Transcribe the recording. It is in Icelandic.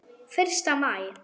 Fyrsta maí.